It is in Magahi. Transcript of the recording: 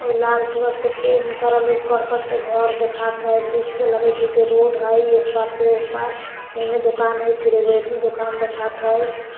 उ लाल कलर से पेंट करल उ कर्कट के घर देखात हईबीच में लगईत हई कि रोड हई येह पार से ओह पार ओने दोकान हई फिर एगो येनहु दोकान देखात हई ।